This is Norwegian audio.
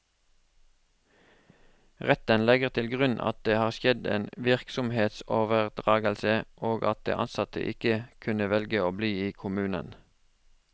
Retten legger til grunn at det har skjedd en virksomhetsoverdragelse, og at de ansatte ikke kunne velge å bli i kommunen.